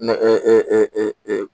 Nɛgɛ